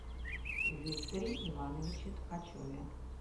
викторе ивановиче ткачеве